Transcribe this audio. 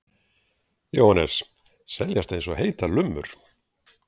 Jóhannes: Seljast eins og heitar lummur?